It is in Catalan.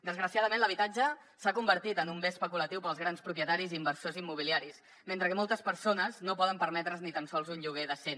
desgraciadament l’habitatge s’ha convertit en un bé especulatiu per als grans propietaris i inversors immobiliaris mentre que moltes persones no poden permetre’s ni tan sols un lloguer decent